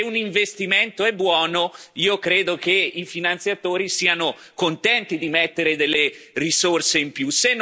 Se un investimento è buono, io credo che i finanziatori siano contenti di mettere delle risorse in più.